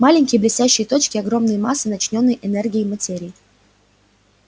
маленькие блестящие точки огромные массы начиненной энергией материи